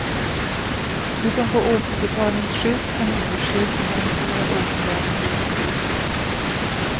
Du kan få återbetalningsskydd, familjeskydd och garanterad återbäring livet ut.